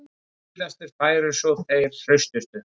Síðastir færu svo þeir hraustustu